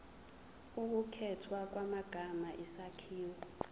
ukukhethwa kwamagama isakhiwo